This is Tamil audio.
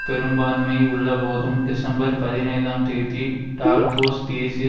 பெரும்பான்மை உள்ளபோதும் டிசம்பர் பதினைந்தாம் தேதி டார்க்கோஸ் தேசிய